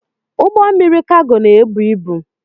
Ụgbọ mmiri Kago na-ebu ibu.